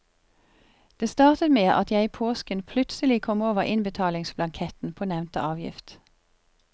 Det startet med at jeg i påsken plutselig kom over innbetalingsblanketten på nevnte avgift.